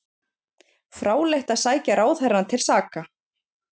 Fráleitt að sækja ráðherrana til saka